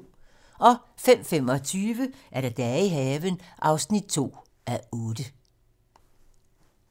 05:25: Dage i haven (2:8)